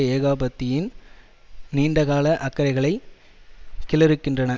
ஏகாபத்தியத்தின் நீண்டகால அக்கறைகளை கீழறுக்கின்றன